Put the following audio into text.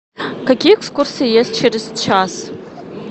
какие экскурсии есть через час